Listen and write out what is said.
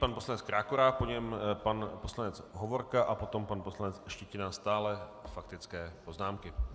Pan poslanec Krákora, po něm pan poslanec Hovorka a potom pan poslanec Štětina, stále faktické poznámky.